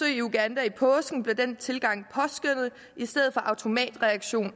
i uganda i påsken blev den tilgang i stedet for en automatreaktion